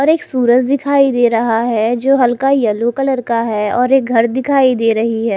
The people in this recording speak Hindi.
और एक सूरज दिखाई दे रहा है जो हल्का येलो कलर का है और एक घर दिखाई दे रही है।